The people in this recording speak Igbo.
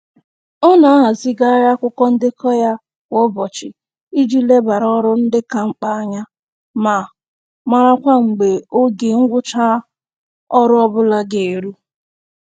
Ọ na-ahazigharị akwụkwọ ndekọ ya kwa ụbọchị iji lebara ọrụ ndị ka mkpa anya ma marakwa mgbe oge ngwụcha ọrụ ọbụla ga eru